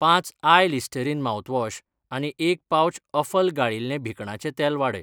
पांच आय Listerine mouthwash आनी एक पाउच सफल गाळिल्लें भिकणाचें तेल वाडय.